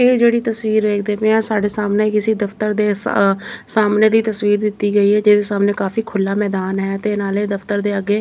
ਇਹ ਜਿਹੜੀ ਤਸਵੀਰ ਵੇਖਦੇ ਪਏ ਆ ਸਾਡੇ ਸਾਹਮਣੇ ਕਿਸੇ ਦਫਤਰ ਦੇ ਆ ਸਾਹਮਣੇ ਦੀ ਤਸਵੀਰ ਦਿੱਤੀ ਗਈ ਆ ਜਿਹਦੇ ਸਾਹਮਣੇ ਕਾਫੀ ਖੁਲ੍ਹਾ ਮੈਦਾਨ ਹੈ ਤੇ ਨਾਲੇ ਦਫਤਰ ਦੇ ਅੱਗੇ --